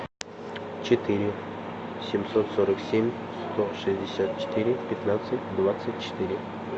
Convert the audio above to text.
четыре семьсот сорок семь сто шестьдесят четыре пятнадцать двадцать четыре